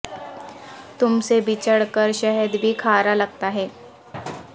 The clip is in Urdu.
تم سے بچھڑ کر شہد بھی کھارا لگتا ہے